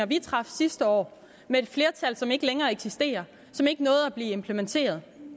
vi traf sidste år med et flertal som ikke længere eksisterer som ikke nåede at blive implementeret